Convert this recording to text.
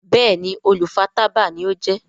Béèni olú fà tábà ní o jé.